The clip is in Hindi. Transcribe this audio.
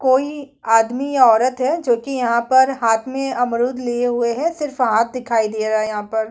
कोई आदमी या औरत है जो कि यहाँ पर हाथ में अमरूद लिए हुए है सिर्फ हाथ दिखाई दे रहा यहाँ पर --